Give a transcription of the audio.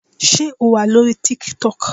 Sé O wà lórí TikTok.